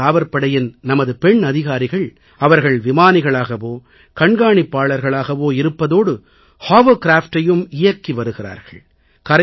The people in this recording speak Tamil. கடலோரக் காவற்படையின் நமது பெண் அதிகாரிகள் அவர்கள் விமானிகளாகவோ கண்காணிப்பாளர்களாகவோ இருப்பதோடு ஹோவர்கிராப்டையும் இயக்கி வருகிறார்கள்